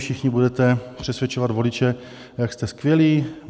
Všichni budete přesvědčovat voliče, jak jste skvělí.